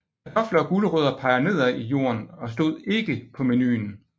Kartofler og gulerødder peger nedad i jorden og stod ikke på menuen